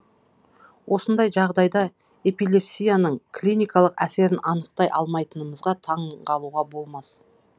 осындай жағдайда эпилепсияның клиникалық әсерін анықтай алмайтынымызға таңғалуға болмас